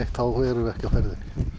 þá erum við ekkert á ferðinni